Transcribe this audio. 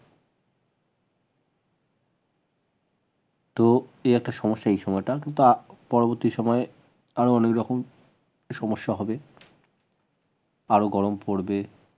তো এই একটা সমস্যা এই সময়টা পরবর্তী সময়ে আরও অন্য রকম সমস্যা হবে আরও গরম পড়বে